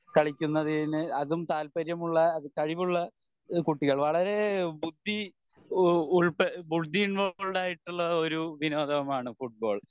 കളിക്കുന്നത്തിന് അതും താല്പര്യം ഉള്ള കഴിവുള്ള കുട്ടികളെ വളരേ ബുദ്ധി ഉള്പെ ബുദ്ധി ഇൻവോൾവ്ഡ് ആയിട്ടുള്ള ഒരു വിനോദം ആണ് ഫുട്ബോൾ